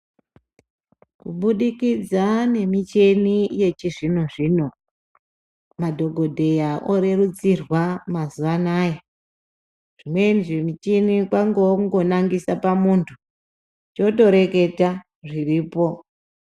Kubudikidza nemichini yechizvino zvino, madhokodheya orerutsirwa mazuwa anaya, zvimweni zvimichini kwangowa kungo nangisa pamuntu, choto reketa zviripo.